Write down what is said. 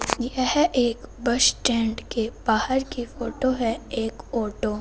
यह एक bus stand के बाहर की फोटो है एक ऑटो --